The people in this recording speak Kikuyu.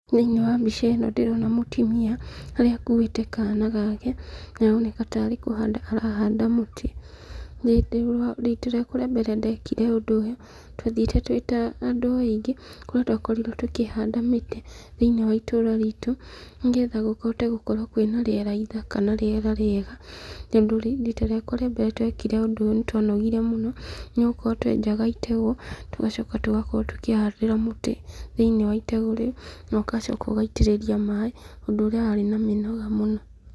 Thĩiniĩ wa mbica ĩno ndĩrona mũtumia, harĩa akuĩte kana gake, na nĩ aroneka tarĩ kũhanda arahanda mũtĩ, rita rĩakwa rĩa mbere ndekire ũndũ ũyũ, twathiĩte twĩ ta andũ aingĩ, kũrĩa twakorirwo tũkĩhanda mĩtĩ thĩiniĩ wa itũra ritũ, nĩgetha kũhote gũkorwo kwĩ na rĩera ithaka na rĩera rĩega, tondũ rita rĩakwa rĩa mbere twekire ũndũ ũyũ nĩ twanogire mũno, nĩgũkorwo twenjaga itegũ, tũgacoka tũgakorwo tũkĩhandĩra mũtĩ thĩiniĩ wa itegũ rĩu, nogacoka ũgaitĩrĩria maĩ, ũndũ ũrĩa warĩ na mĩnoga mũno.